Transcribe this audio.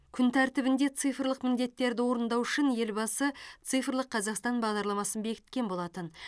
күн тәртібінде цифрлық міндеттерді орындау үшін елбасы цифрлық қазақстан бағдарламасын бекіткен болатын